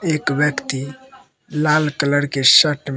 एक व्यक्ति लाल कलर के शर्ट में--